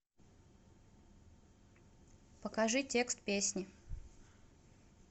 покажи текст песни